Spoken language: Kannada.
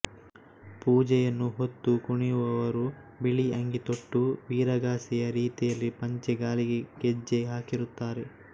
ಪೂಜೆಯನ್ನು ಹೊತ್ತು ಕುಣಿಯುವವರು ಬಿಳಿ ಅಂಗಿ ತೊಟ್ಟು ವೀರಗಾಸೆಯ ರೀತಿಯಲ್ಲಿ ಪಂಚೆ ಕಾಲಿಗೆ ಗೆಜ್ಜೆ ಹಾಕಿರುತ್ತಾರೆ